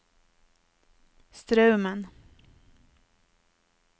Straumen